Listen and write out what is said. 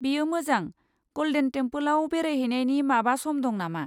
बेयो मोजां। गल्डेन टेमपोलआव बेरायहैनायनि माबा सम दं नामा?